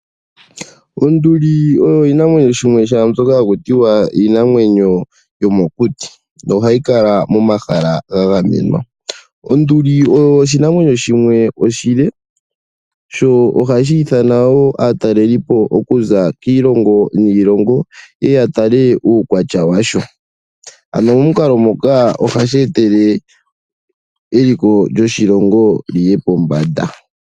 Onduli osho oshinamwenyo shomokuti, no hashi kala pomahala ga gamenwa. Onduli oshinamwenyo oshile, sho ohashi hili aataleli okuza kiilongo yi ili noyi ili yeye ya tale uukwatya washo. Momukalo nguka eliko lyoshilongo ohali yi pombanda.